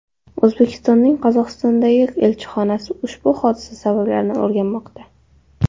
O‘zbekistonning Qozog‘istondagi elchixonasi ushbu hodisa sabablarini o‘rganmoqda .